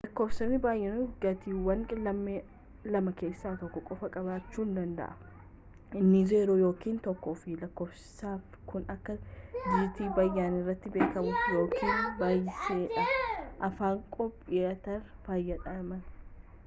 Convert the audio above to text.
lakkoofsi baayinarii gatiiwwan lamaa keessa tokko qofa qabachu danda'a inni 0 yookiin 1 fi lakkofsotni kun akka dijiitii baayinariti beekamu-yookiin baayitsidhaan afaan koompiyutaara fayyadamuuf